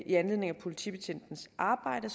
i anledning af politibetjentens arbejde